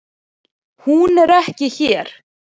Hún er ekki hér.